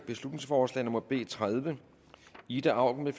beslutningsforslag nummer b tredive ida auken